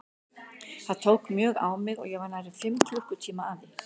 Það tók mjög á mig og ég var nærri fimm klukkutíma að því.